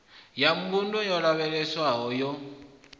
ya mbuno dzo lavhelelwaho yo